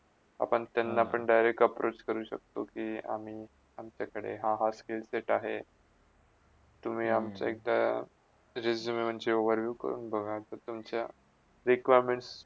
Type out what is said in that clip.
आपण त्यांलापण direct approach करू शकतो कि आम्ही, अमच्याकडे हा हा skills set आहे तुम्ही अमच्या एकदा RESUME वरची overlook काडून बघा तर तुमचा requirements